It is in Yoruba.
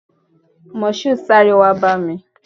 Moshood, sáré wá bá mi!